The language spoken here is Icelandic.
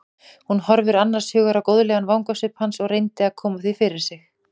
Hún horfði annars hugar á góðlegan vangasvip hans og reyndi að koma því fyrir sig.